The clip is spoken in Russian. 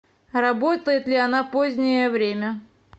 работает ли она позднее время